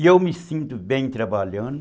E eu me sinto bem trabalhando.